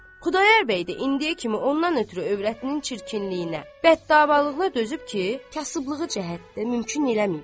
Xudayar bəy də indiyə kimi ondan ötrü övrətinin çirkinliyinə, bəddavalılığına dözüb ki, kasıblığı cəhətdən mümkün eləməyib.